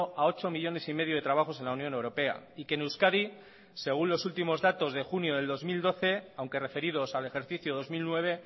a ocho millónes y medio de trabajos en la unión europea y que en euskadi según los últimos datos de junio del dos mil doce aunque referidos al ejercicio dos mil nueve